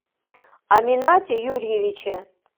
аминате юрьевиче